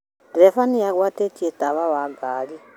Ndereba nĩagwatĩtie tawa wa ngari